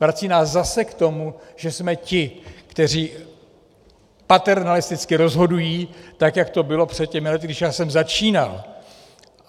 Vrací nás zase k tomu, že jsme ti, kteří paternalisticky rozhodují tak, jak to bylo před těmi lety, když já jsem začínal.